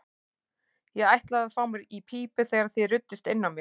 Ég ætlaði að fá mér í pípu þegar þið ruddust inn á mig.